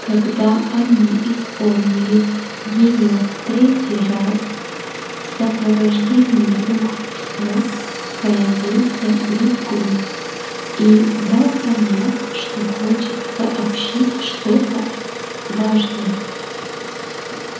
когда они исполнили её в третий раз в сопровождении двух псов появился визгун и дал понять что хочет сообщить что-то важное